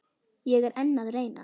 Ég er enn að reyna.